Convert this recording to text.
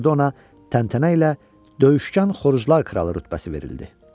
Burda ona təntənə ilə döyüşkan xoruzlar kralı rütbəsi verildi.